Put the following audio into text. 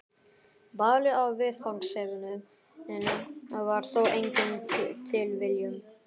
Valið á viðfangsefninu var þó engin tilviljun.